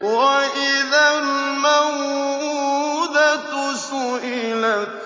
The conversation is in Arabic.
وَإِذَا الْمَوْءُودَةُ سُئِلَتْ